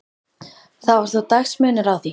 Það var þó dagamunur að því.